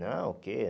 Não, o quê?